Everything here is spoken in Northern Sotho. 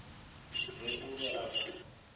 re o be a ka